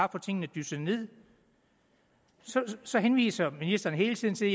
at få tingene dysset ned så henviser ministeren hele tiden til